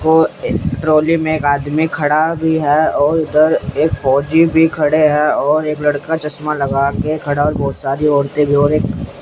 वो एक ट्रॉली में एक आदमी खड़ा भी है और उधर एक फौजी भी खड़े हैं और एक लड़का चश्मा लगा के खड़ा बहुत सारी औरते भी और एक --